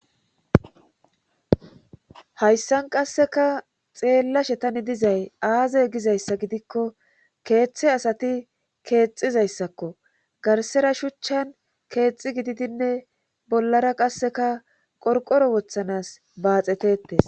hayssan qasseka xeellashe tani dizay aaze gizayssa gidikko keeththe asati keexizayssakko garsera shuchchan keexi gididinne bollara qasseka qorqoro wothanas baaxetetes